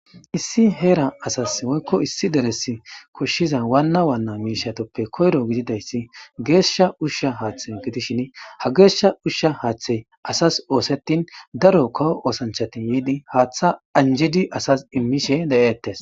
Issi heera asassi woykko issi deressi koshshiza waanna waanna miishathuppe koyro gididayssi geeshsha ushsha haaththey gidishini ha geeshsha ushsha haaththey asas ooseththin daro kawo oosanchchathi yiidi haaththaa anjjidi asas immishe de7eettes.